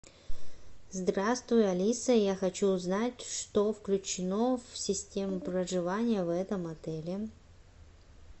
здравствуй алиса я хочу узнать что включено в систему проживания в этом отеле